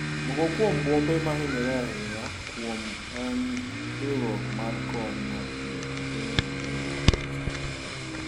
Moko kuom buombe mahinyore ahinya kuom en riuruok mar kony mar thieth epiny Uingereza kod Scortland.